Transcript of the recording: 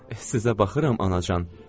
Sizə baxıram, anacan.